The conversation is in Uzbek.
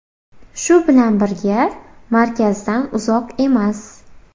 Shu bilan birga, markazdan uzoq emas.